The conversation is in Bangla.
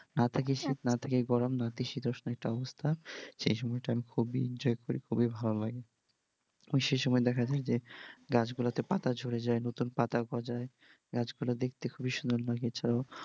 না থাকে শীত না থাকে গরম নাতিশীতোষ্ণ একটা অবস্থা, সেই সময় টা আমি খুবই enjoy করি আমার খুবই ভালো লাগে এবং সেই সময়তে দেখা যায় যে গাছগুলাতে পাতা ঝরে যায় নতুন পাতা গজায় গাছগুলো দেখতে খুবই সুন্দর লাগে।